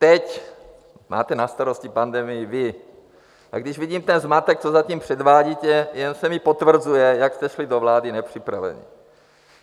Teď máte na starosti pandemii vy, a když vidím ten zmatek, co zatím předvádíte, jen se mi potvrzuje, jak jste šli do vlády nepřipravení.